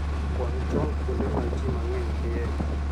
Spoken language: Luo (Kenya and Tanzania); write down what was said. Kwan chon kuonde ma ji mang'eny dhiye.